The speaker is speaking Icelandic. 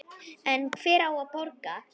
En hver á að borga?